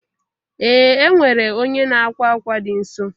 Ee e nwere onye n'akwa akwa dị nso